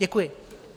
Děkuji.